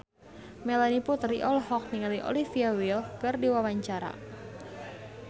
Melanie Putri olohok ningali Olivia Wilde keur diwawancara